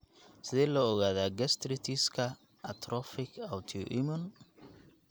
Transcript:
Sidee loo ogaadaa gastritis-ka atrophic autoimmune?